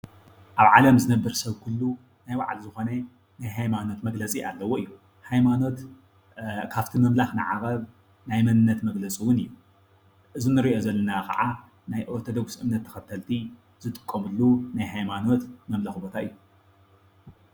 ኣብ ዓለም ዝነብር ሰብ ኩሉ ናይ በዓሉ ዝኮነ ናይ ሃይማኖት መግለፂ ኣለዎ እዩ ሃይማኖት ካፍቲ ምምለኸ ንዓቀብ ናይ መንንት መግለፂ እውን እዩ። እዚ ንርኦ ዘለና ከዓ ናይ አርቶዶክስ እምነት ተከተልቲ ዝጥቀመሉ ናይ ሃይማኖት ምምለኣክ ቦታ እዩ።